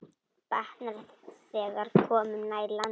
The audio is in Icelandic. Batnar, þegar komum nær landi.